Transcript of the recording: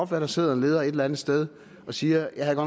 være der sidder en leder et eller andet sted og siger jeg havde